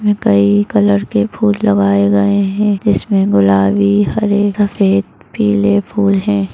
इसमे कई कलर के फूल लगाए गए है इसमे गुलाबी हरे सफेद पीले फूल है।